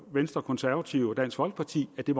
venstre konservative og dansk folkeparti at det